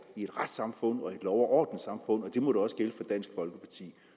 i et retssamfund og i orden samfund og det må da også gælde for dansk folkeparti